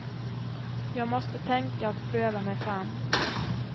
Jag måste tänka och pröva mig fram.